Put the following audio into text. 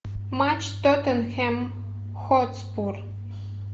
матч тоттенхэм хотспур